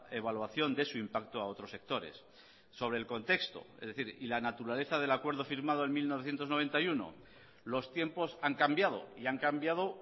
evaluación de su impacto a otros sectores sobre el contexto es decir y la naturaleza del acuerdo firmado en mil novecientos noventa y uno los tiempos han cambiado y han cambiado